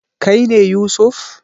Kai ne Yusuf?